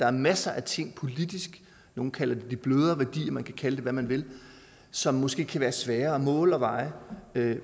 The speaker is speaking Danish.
er masser af ting nogle kalder det de blødere værdier man kan kalde det hvad man vil som måske kan være svære at måle og veje